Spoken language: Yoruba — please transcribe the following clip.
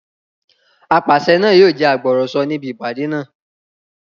Apàṣẹ náà yóò jẹ́ agbọ̀rọ̀sọ níbi ìpàdé náà